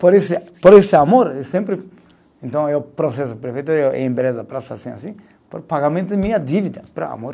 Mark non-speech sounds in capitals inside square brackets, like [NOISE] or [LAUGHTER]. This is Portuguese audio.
Por esse, por esse amor, eu sempre. Então, eu, [UNINTELLIGIBLE] assim, assim, por pagamento minha dívida, para amor.